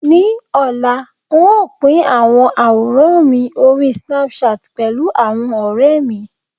ní ọlá, n o Pin awọn aworan mi ori Snapchat pẹlu awon ore mi